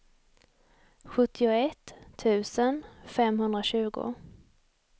sjuttioett tusen femhundratjugo